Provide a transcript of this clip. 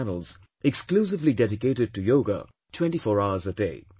channels exclusively dedicated to Yoga 24 hours a day